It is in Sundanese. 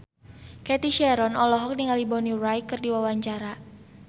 Cathy Sharon olohok ningali Bonnie Wright keur diwawancara